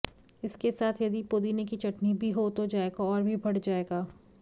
इसके साथ यदि पोदीने की चटनी भी हो तो जायका और भी बढ़ जाएगा